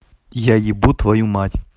я ебу твою мать